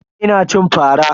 Ina cin fara.